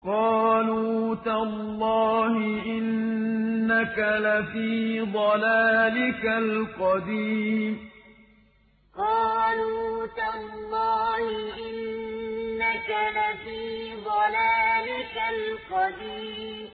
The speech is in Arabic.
قَالُوا تَاللَّهِ إِنَّكَ لَفِي ضَلَالِكَ الْقَدِيمِ قَالُوا تَاللَّهِ إِنَّكَ لَفِي ضَلَالِكَ الْقَدِيمِ